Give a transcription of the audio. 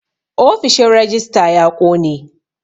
Ofishin rejista ya ƙone